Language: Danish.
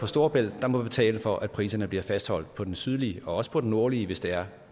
storebælt der må betale for at priserne bliver fastholdt på den sydlige men også på den nordlige hvis det er